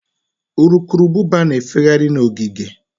Urukurubụba na-efegharị n'ogige.